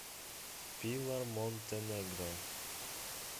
пилар монтенегро